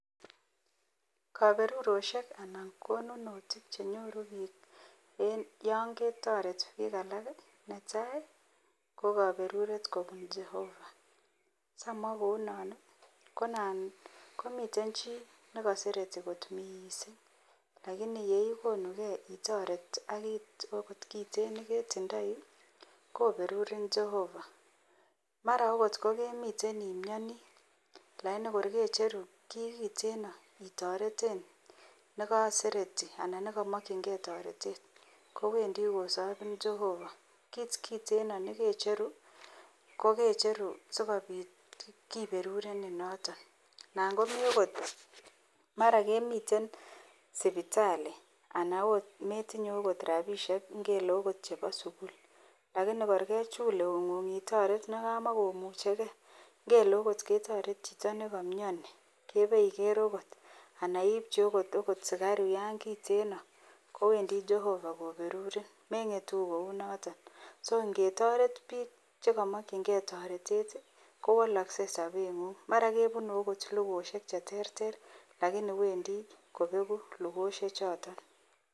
Kaberurosiek anan konunitik chenyoru bik en yangetaret bik alak ko netai kokaberuret kobun Jehova samwa kounon ka nan komiten chi nikasereti kot mising lakini yeigonu gei itoret akikai okot kit kitten nekitindoi koberurin Jehova mara okot kokemiten imnyani lakini korkecheru ki kiteno itareten nikasereti anan nekamakingei taretet komiten koberurin Jehova AK kit kitten noton kecheru korkecheru sikobit keberurenin noton nangomi okot mara kemiten sibitali anan okot kometinye okot rabishek chebo okot sukul lakini korkechul neugung nekamakomuchegei ngele okot ketaret Chito nikamyani ibaiker oko ana iibchi okot sikaruk kiten keberurinningetu Kouniton okot ngetaret bik chekimakin gei taretet kowalakse saben nengung akoweni kobeku lugoshek guk choton